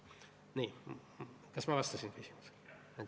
Kas ma vastasin küsimusele?